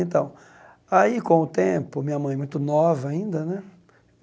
Então, aí com o tempo, minha mãe muito nova ainda, né?